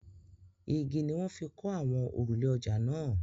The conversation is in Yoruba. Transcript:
Igi ni wọ́n fi kọ́ àwọn òrùlé ọjà náà.